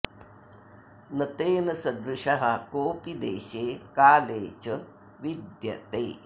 न तेन सदृशः कोऽपि देशे काले च विद्यते